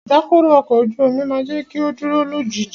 Ìdákọrò ọkọ̀ ojú omi máà jẹ́ kí o dúró lójú ìjì.